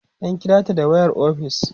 an kirata da wayar ofis